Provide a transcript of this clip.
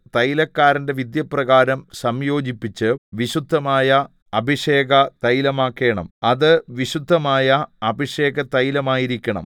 തൈലക്കാരന്റെ വിദ്യപ്രകാരം സംയോജിപ്പിച്ച് വിശുദ്ധമായ അഭിഷേക തൈലമാക്കേണം അത് വിശുദ്ധമായ അഭിഷേകതൈലമായിരിക്കണം